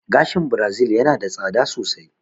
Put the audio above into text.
Gashin birazil yana da tsada sosai